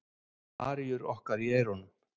Með aríur okkar í eyrunum.